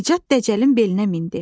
Nicat Dəcəlin belinə mindi.